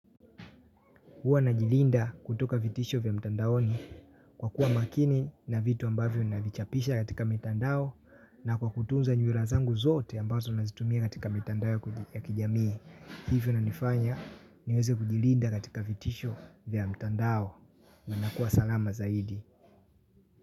Uwa na jilinda kutoka vitisho vya mtandaoni kwa kuwa makini na vitu ambavyo navichapisha katika mtandao na kwa kutunza nywila zangu zote ambazo nazitumia katika mtandao ya kijamii. Hivyo nanifanya niweze kujilinda katika vitisho vya mtandao na nakuwa salama zaidi.